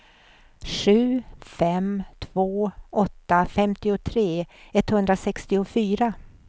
sju fem två åtta femtiotre etthundrasextiofyra